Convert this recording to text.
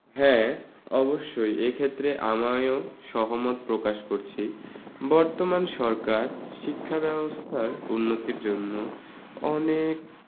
হ্যা। অবশ্যই এক্ষেত্রে আমায়ও সহমত প্রকাশ করছি। বর্তমান সরকার শিক্ষা ব্যাবস্থার উন্নতির জন্য অনেক ।